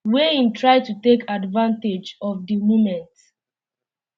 wey im try to take advantage of di um moment